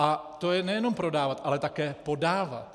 A to je nejenom prodávat, ale také podávat.